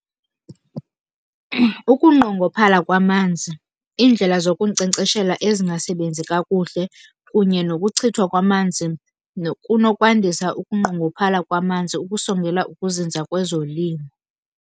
Ukunqongophala kwamanzi, iindlela zokunkcenkceshela ezingasebenzi kakuhle kunye nokuchithwa kwamanzi kunokwandisa ukunqongophala kwamanzi ukusongela ukuzinza kwezolimo.